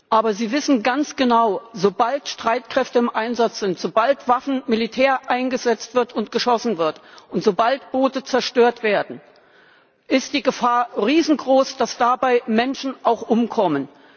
Aber Sie wissen ganz genau Sobald Streitkräfte im Einsatz sind, sobald Waffen und Militär eingesetzt werden und geschossen wird und sobald Boote zerstört werden, ist die Gefahr riesengroß, dass dabei auch Menschen umkommen.